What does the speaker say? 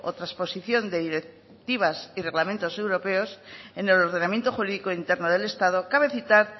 trasposición de directivas y reglamentos europeos en el ordenamiento jurídico interno del estado cabe citar